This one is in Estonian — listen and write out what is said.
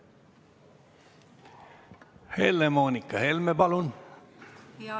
Helle-Moonika Helme, palun!